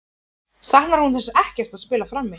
Saknar hún þess ekkert að spila frammi?